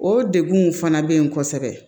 O degunw fana bɛ yen kosɛbɛ